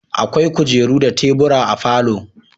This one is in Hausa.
Akwai kujeru da tebur a falo